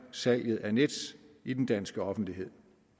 salget af nets i den danske offentlighed